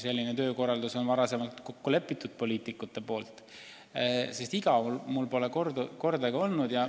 Sellises töökorralduses on poliitikud varem kokku leppinud ja igav pole mul kordagi olnud.